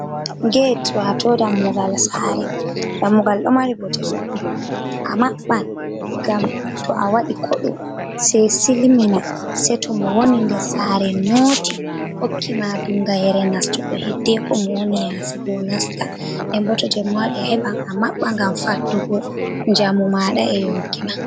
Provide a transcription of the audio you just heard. Get wato dammugal sare dammugal do mari bo te ɗuɗɗum, a mabban ngam to a wadi kodo se silmina se to mo woni nder sare noti hokki ma dungayere nastugo hiddeko mo woni yasi bo nasta en bo to jemma wadi heban a mabba gam faddugo jamu mada e yonki ma.